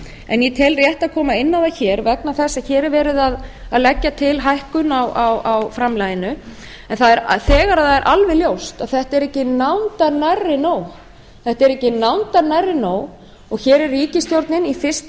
en ég tel rétt að koma inn á það hér vegna þess að hér er verið að leggja til hækkun á framlaginu en þegar er það alveg ljóst að þetta er ekki nándar nærri nóg þetta er ekki nándar nærri nóg og hér er ríkisstjórnin í fyrsta